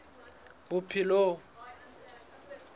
bophelong